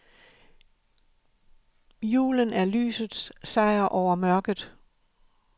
Julen er lysets sejr over mørket.